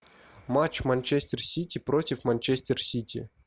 матч манчестер сити против манчестер сити